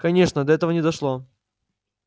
конечно до этого не дошло